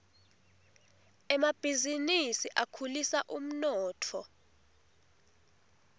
emabhizinisi akhulisa umnotfo